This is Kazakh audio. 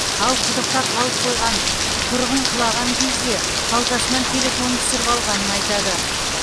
ал құдықта қалып қойған тұрғын құлаған кезде қалтасынан телефонын түсіріп алғанын айтады